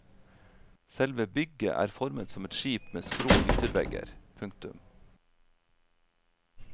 Selve bygget er formet som et skip med skrå yttervegger. punktum